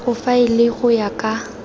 o faele go ya ka